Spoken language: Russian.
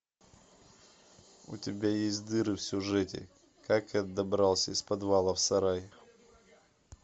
у тебя есть дыры в сюжете как я добрался из подвала в сарай